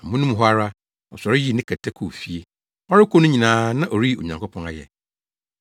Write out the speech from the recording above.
Amono mu hɔ ara, ɔsɔre yii ne kɛtɛ kɔɔ fie. Ɔrekɔ no nyinaa na ɔreyi Onyankopɔn ayɛ.